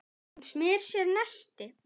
Hún smyr sér nesti.